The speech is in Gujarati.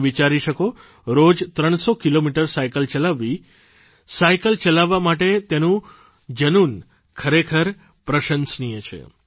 તમે વિચારી શકો રોજ 300 કિલોમીટર સાઇકલ ચલાવવી સાઇકલ ચલાવવા માટે તેનું જનુન ખરેખર પ્રશંસનીય છે